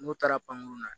N'u taara pankurun na